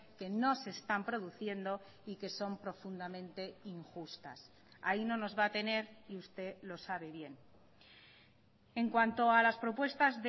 que no se están produciendo y que son profundamente injustas ahí no nos va a tener y usted lo sabe bien en cuanto a las propuestas